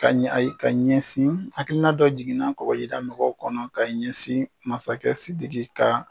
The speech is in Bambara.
Ka ayi ka ɲɛsin hakilina dɔ jiginna kɔgɔjida mɔgɔw kɔnɔ ka ɲɛsin masakɛ Sidiki ka